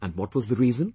And what was the reason